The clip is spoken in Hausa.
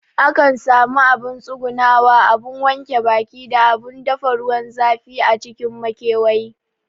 Akan sami abun tsugunawa, abun wanke baki da abun dafa ruwan zafi a cikin makewayi